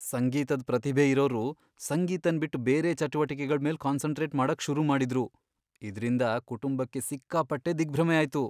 ಸಂಗೀತದ್ ಪ್ರತಿಭೆ ಇರೋರು ಸಂಗೀತನ್ ಬಿಟ್ ಬೇರೆ ಚಟುವಟಿಕೆಗಳ್ ಮೇಲ್ ಕಾನ್ಸನ್ಟ್ರೇಟ್ ಮಾಡಕ್ ಶುರು ಮಾಡಿದ್ರು, ಇದ್ರಿಂದ ಕುಟುಂಬಕ್ಕೆ ಸಿಕ್ಕಾಪಟ್ಟೆ ದಿಗ್ಭ್ರಮೆ ಆಯ್ತು.